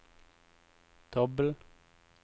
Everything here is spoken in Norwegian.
dobbel